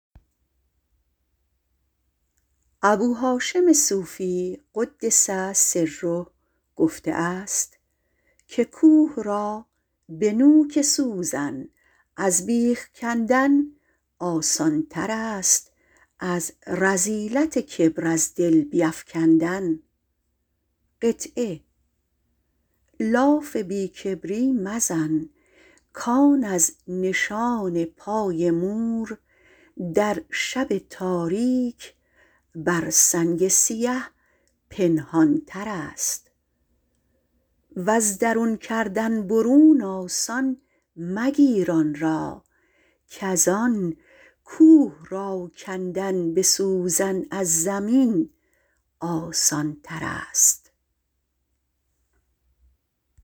ابوهاشم صوفی - قدس سره - گفته است که کوه را به نوک سوزن از بیخ کندن آسان تر است از زنگ کبر از دل بیفکندن لاف بی کبری مزن کان از نشان پای مور در شب تاریک بر سنگ سیه پنهان تر است وز درون کردن برون آسان مگیر آن را کزان کوه را کندن به سوزن از زمین آسان تر است